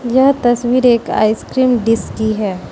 यह तस्वीर एक आइसक्रीम डीश की है।